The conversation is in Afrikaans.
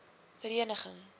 vereniging